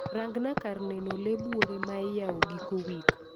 Rangna kar neno lee buore maiyao giko wik